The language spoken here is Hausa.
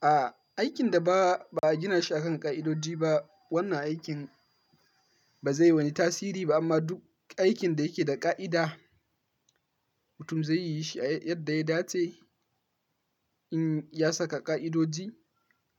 A aikin da ba a gina shi a kan ƙa'idoji ba, wannan aikin ba zai wani tasiri ba amma duk aikin da yake da ƙa'ida, mutum zai yi shi yadda ya dace in ya saka ƙa'idoji